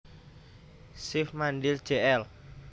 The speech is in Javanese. Shiv Mandhir Jl